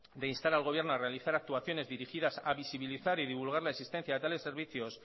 de instar al gobierno a realizar actuaciones dirigidas a visualizar y divulgar la existencia de tales servicios